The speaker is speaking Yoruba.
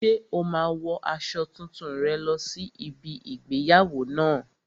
Ṣé o máa wo aṣọ tuntun rẹ lọ sí ibi igbéyàwó náà?